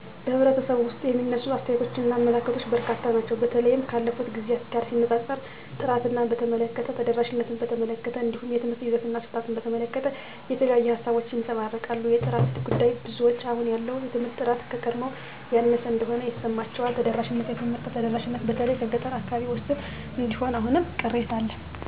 በኅብረተሰቡ ውስጥ የሚነሱ አስተያየቶችና አመለካከቶች በርካታ ናቸው። በተለይም ካለፉት ጊዜያት ጋር ሲነጻጸር፣ ጥራትን በተመለከተ፣ ተደራሽነትን በተመለከተ፣ እንዲሁም የትምህርት ይዘትና አሰጣጥን በተመለከተ የተለያዩ ሃሳቦች ይንጸባረቃሉ። የጥራት ጉዳይ -ብዙዎች አሁን ያለው የትምህርት ጥራት ከቀድሞው ያነሰ እንደሆነ ይሰማቸዋል። ተደራሽነት -የትምህርት ተደራሽነት በተለይ በገጠር አካባቢዎች ውስን እንደሆነ አሁንም ቅሬታ አለ